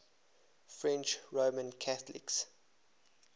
french roman catholics